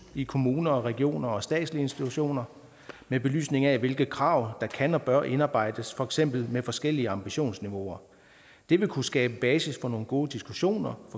i kommuner regioner og statslige institutioner med belysning af hvilke krav der kan og bør indarbejdes for eksempel med forskellige ambitionsniveauer det vil kunne skabe basis for nogle gode diskussioner